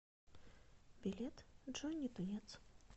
билет джонни тунец